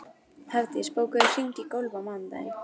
Hafdís, bókaðu hring í golf á mánudaginn.